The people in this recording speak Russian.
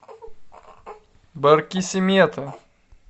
баркисимето